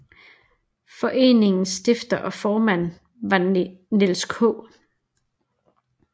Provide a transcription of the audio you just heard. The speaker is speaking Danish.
Foreningens stifter og formand var Niels K